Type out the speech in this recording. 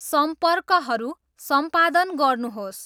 सम्पर्कहरू सम्पादन गर्नुहोस्